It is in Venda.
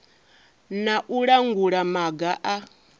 na u langula maga a